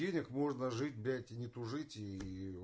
денег можно жить блядь и не тужить и